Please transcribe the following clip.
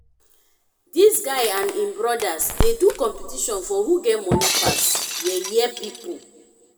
dis guy and im brodas dey do competition for who get moni pass yeye pipo.